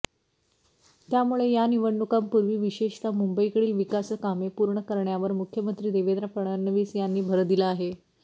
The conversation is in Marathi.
त्यामुळे या निवडणुकांपुर्वी विशेषतः मुंबईतील विकासकामे पुर्ण करण्यावर मुख्यमंत्री देवेंद्र फडणवीस यांनी भर दिला आहे